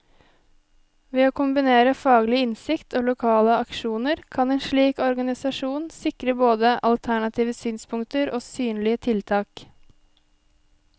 Ved å kombinere faglig innsikt og lokale aksjoner, kan en slik organisasjon sikre både alternative synspunkter og synlige tiltak.